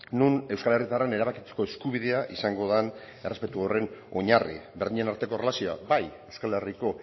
non euskal herritarren erabakitzeko eskubidea izango den errespetu horren oinarri berdinen arteko erlazioa bai euskal herriko